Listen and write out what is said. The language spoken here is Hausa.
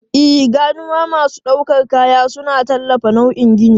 E, ganuwa masu ɗaukar kaya suna tallafawa nauyin gini.